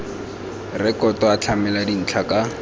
rekoto a tlamela dintlha ka